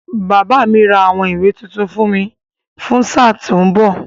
Bàbá mi ra àwọn ìwé tuntun fún mi fún sáà tó ń bọ̀.